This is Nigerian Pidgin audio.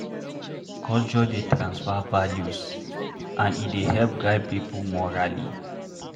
Culture dey tranfer values and e dey help guide pipo morally